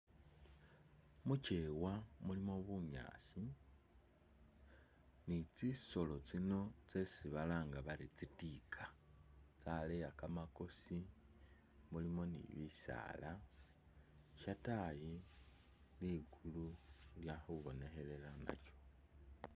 Muchewa mulimo bunyaasi ni'tsisolo tsino tsesi balanga bari tsitika tsaleya kamakosi mulimo ni'bisaala shataayi liggulu lyakhubonekhelela nalyo